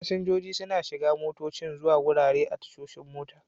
Fasinjojin suna shiga motocin zuwa garuruwa a tashoshin mota.